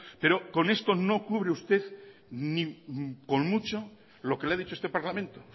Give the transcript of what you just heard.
pero con esto no cubre ni con mucho lo que le ha dicho este parlamento